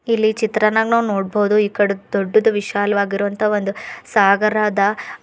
ಇಲ್ಲಿ ಚಿತ್ರನಾಗ್ ನಾವ್ ನೋಡ್ಬಹುದು ಈ ಕಡೆ ದೊಡ್ಡದು ವಿಶಾಲವಾಗಿರುವಂತ ಒಂದು ಸಾಗರ ಅದ.